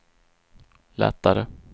lättare